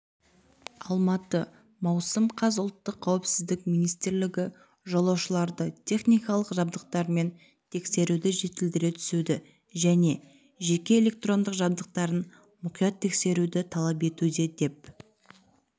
алматы маусым қаз ұлттық қауіпсіздік министрлігі жолаушыларды техникалық жабдықтармен тексеруді жетілдіре түсуді және жеке электрондық жабдықтарын мұқият тексеруді талап етуде деп